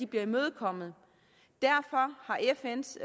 bliver imødekommet derfor har fns